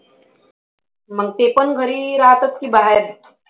मग ते पण घरी राहतात का बाहेर?